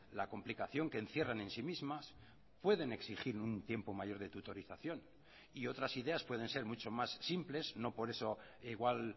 la complicación que encierran en sí mismas pueden exigir un tiempo mayor de tutorización y otras ideas pueden ser mucho más simples no por eso igual